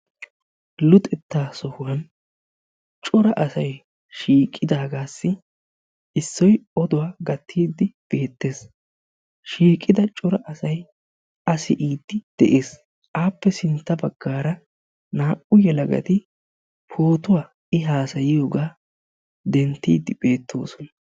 Luxetta sohuwan cora asay shiiqidaagaassi issoy oduwa gattiidi beettees. shiiqqida cora asay a siiyidi de'ees. Aappe sintta baggaara naa"u yelagati pootuwaa I haasayiyogga denttiidi beettoosona.